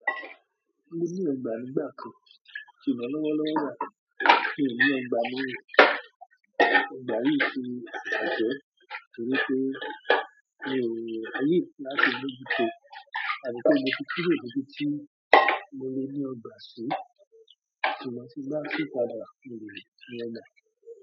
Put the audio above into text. Mo ní ọgbà nígbà kan. Ṣùgbọ́n lọ́wọ́lọ́wọ́ báyìí miì ní ọgbà mọ́ o, ọgbà yìí tí bàjẹ́, nítorí pé mi ò lè ráyè láti mójú to. Àyíká, mo ti kúrò níbi tí mo le ní ọgbà sí, ṣùgbọ́n tí n bá sì padà mo lè ní ọgbà.